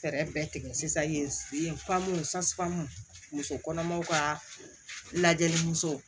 Fɛɛrɛ bɛɛ tigɛ sisan yen muso kɔnɔmaw ka lajɛli musow